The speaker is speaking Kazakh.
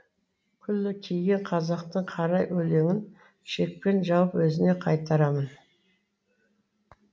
күлі киген қазақтың қара өлеңін шекпен жауып өзіне қайтарамын